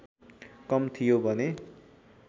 कम थियो भने